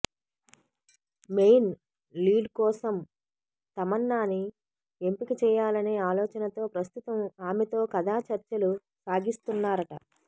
main లీడ్కోసం తమన్నాని ఎంపిక చేయాలనే ఆలోచనతో ప్రస్తుతం ఆమెతో కథాచర్చలు సాగిస్తున్నారట